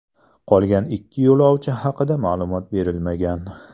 Qolgan ikki yo‘lovchi haqida ma’lumot berilmagan.